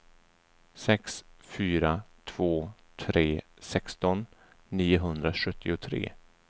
sex fyra två tre sexton niohundrasjuttiotre